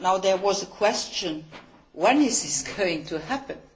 There was a question when is this going to happen?